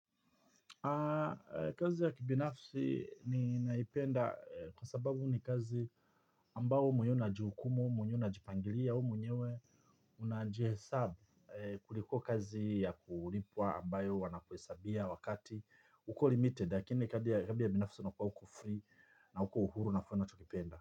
Kazi ya kibinafsi ninaipenda kwa sababu ni kazi ambao mwenyywe unajihukumu mwenyewe unajipangilia au mwenyewe unajihesabu kuliko kazi ya kulipwa ambayo wanakuhesabia wakati. Uko limited lakini kazi ya kibinafsi unakuwa uko free na uko uhuru unafanya unachokipenda.